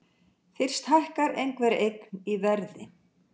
Fyrst hækkar einhver eign í verði.